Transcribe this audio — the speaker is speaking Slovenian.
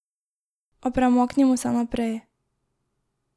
A premaknimo se naprej.